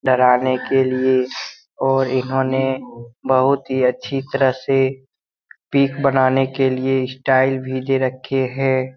डराने के लिए और इन्होने बहुत ही अच्छी तरह से पिक बनाने के लिए स्टाइल भी दे रखे है।